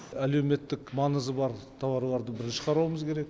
әлеуметтік маңызы бар тауарларды біз шығаруымыз керек